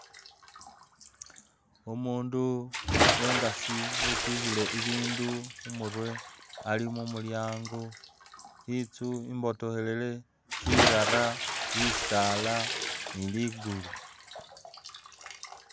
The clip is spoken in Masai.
Umundu uwe ngasi wetikhile ibindu khumurwe ali mumulyango, itsu imbotokhelele sirara, bisaala ni ligulu